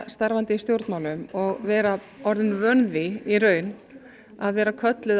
starfandi í stjórnmálum og vera orðin vön því í raun að vera kölluð